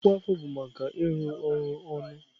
Ọkwa afọ bụ maka ịrụ ọrụ ọnụ.